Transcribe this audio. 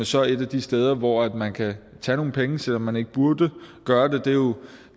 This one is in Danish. så er et af de steder hvor man kan tage nogle penge selv om man ikke burde gøre